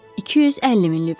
250 min livr.